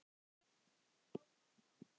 Breki: Ánægður með hann?